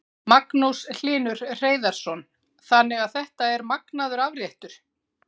Magnús Hlynur Hreiðarsson: Þannig að þetta er magnaður afréttur?